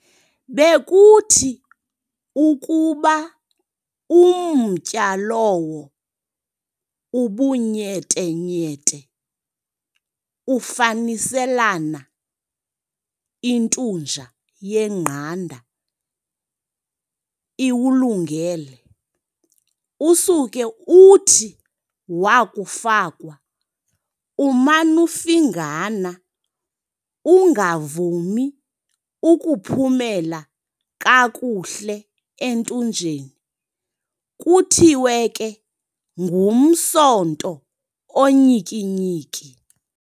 Bekuthi ukuba umtya lowo ubunyetenyete, ufaniselana intunja yengqanda iwulungele, usuke uthi wakufakwa uman'ufingana, ungavumi ukuphumela kakuhle entunjeni, kuthiwe ke, "ngumsonto onyikinyiki"."